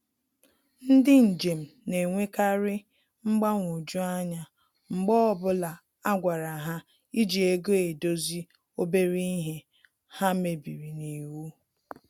Ndị njem na-enwekari mgbanwoju anya mgbe ọbụla a gwara ha iji ego edozi obere ihe ha mebiri n'iwu